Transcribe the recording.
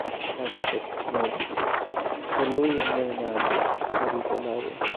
Icherun kabwatet nguk kouelenyolu keripto lakok